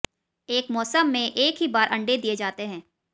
एक मौसम में एक ही बार अण्डे दिये जाते हैं